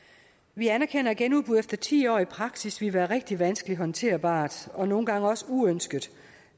vi anerkender at genudbud efter ti år i praksis ville være rigtig vanskelig håndterbart og nogle gange også uønsket